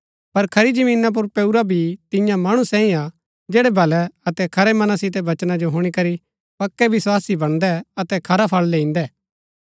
पर खरी जमीना पुर पेऊरा बी तियां मणु सैई हा जैड़ै भलै अतै खरै मना सितै वचना जो हुणी करी पक्कै बिस्वासी वणदै अतै खरा फळ लैईन्‍दै